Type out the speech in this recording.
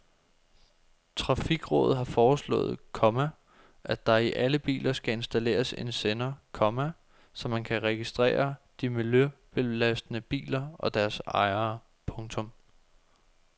Trafikrådet har foreslået, komma at der i alle biler skal installeres en sender, komma så man kan registrere de miljøbelastende biler og deres ejere. punktum